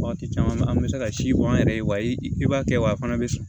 Waati caman an bɛ se ka si bɔ an yɛrɛ ye wa i b'a kɛ wa a fana bɛ sɔn